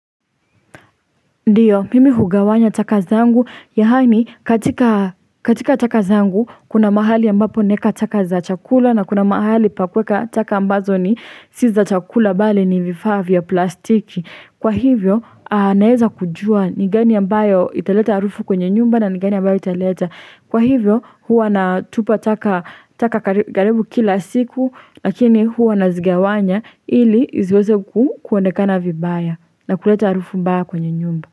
Ndiyo mimi hugawanya taka zangu yaani katika katika taka zangu kuna mahali ambapo naeka taka za chakula na kuna mahali pa kuweka taka ambazo ni si za chakula bali ni vifaa vya plastiki. Kwa hivyo, naeza kujua ni gani ambayo italeta arufu kwenye nyumba na ni gani ambayo italeta. Kwa hivyo, huwa natupa taka taka karibu kila siku, lakini huwa nazigawanya ili iziweze kuonekana vibaya na kuleta arufu mbaya kwenye nyumba.